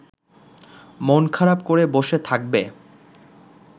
মন খারাপ করে বসে থাকবে